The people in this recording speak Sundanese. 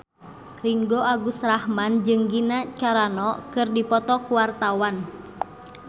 Ringgo Agus Rahman jeung Gina Carano keur dipoto ku wartawan